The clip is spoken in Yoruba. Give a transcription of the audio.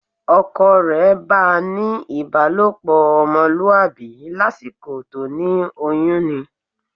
Ọkọ rẹ̀ bá ń ní ìbálòpọ̀ ọmọlúwàbí lásìkò tó ní oyún ni